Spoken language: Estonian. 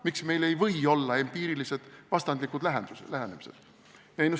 Miks meil ei või olla empiiriliselt vastandlikud lähenemised?